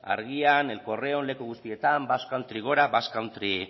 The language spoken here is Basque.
argia el correon leku guztietan basque country gora basque country